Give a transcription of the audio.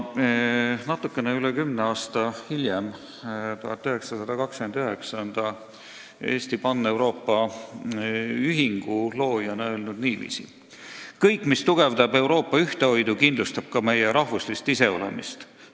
Natuke üle kümne aasta hiljem, aastal 1929, on ta Paneuroopa Eesti Ühingu loojana öelnud niiviisi: "Kõik, mis tugevdab Euroopa ühtehoidu, kindlustab ka meie rahvuslist iseolemist.